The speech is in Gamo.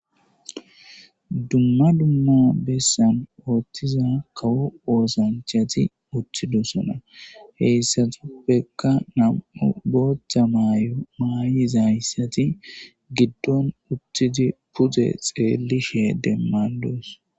dumma dumma bessan ooththiza kawo oosanchati utthidosona heyssatuppeka nam7o botha maayo maayizaayssati giddon utthidi pude xeelishe demmandos